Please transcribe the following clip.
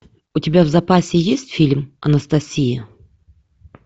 у тебя в запасе есть фильм анастасия